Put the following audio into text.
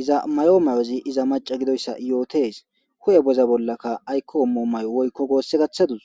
iza may7o mayozi iza maca gidoyssa yootes hu7e boza bollaka aykko ommo may7o woykko goosse gaththadus